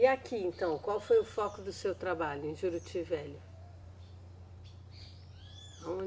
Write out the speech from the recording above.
E aqui, então, qual foi o foco do seu trabalho em Juruti Velho?